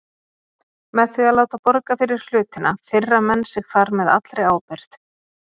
Með því að láta borga fyrir hlutinn firra menn sig þar með allri ábyrgð.